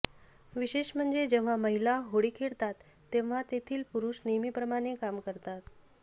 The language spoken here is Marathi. विशेष म्हणजे जेव्हा महिला होळी खेळतात तेव्हा येथील पुरुष नेहमीप्रमाणे काम करतात